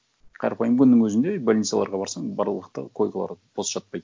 қарапайым күннің өзінде больницаларға барсаң барлық да койкалар бос жатпайды